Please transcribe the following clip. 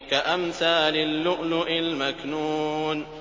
كَأَمْثَالِ اللُّؤْلُؤِ الْمَكْنُونِ